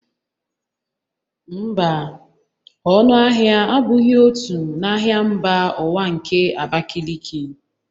Mba, ọnụ ahịa abụghị otu n'ahịa mba ụwa nke Abakiliki